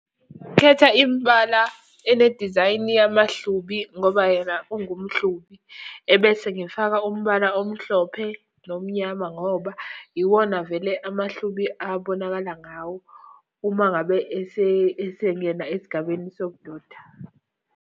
Khetha imbala enedizayini yamahlubi ngoba yena ungumHlubi. Ebese ngifaka umbala omhlophe nomnyama ngoba iwona vele amaHlubi abonakala ngawo, uma ngabe esengena esigabeni sobudoda.